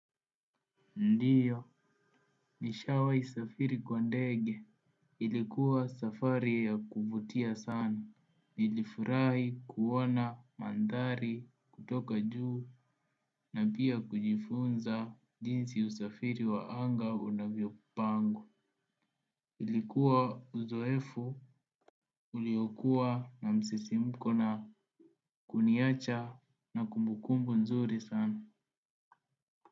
Ndiyo nishawai safiri kwa ndege, ilikuwa safari ya kuvutia sana. Nilifurahi kuona mandhari kutoka juu, na pia kujifunza jinsi usafiri wa anga unavyo pangwa. Ilikuwa uzoefu uliokuwa na msisimko na kuniacha na kumbukumbu nzuri sana.